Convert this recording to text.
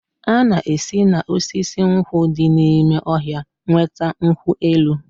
A na-esi na osisi nkwụ di n'ime ọhịa enweta nkwụ elụ.